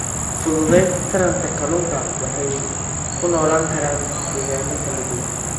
Fududeynta Taranta Kalluunka waxay ku noolaan karaan deegaanno kala duwan.